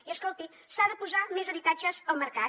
i escolti s’ha de posar més habitatges al mercat